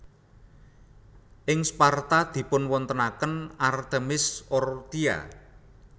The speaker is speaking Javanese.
Ing Sparta dipunwontenaken Artemis Orthia